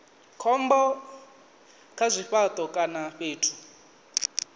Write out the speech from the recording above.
khombo kha zwifhato kana fhethu